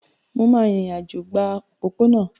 Mo máa rìnrìn-àjò gba pópónà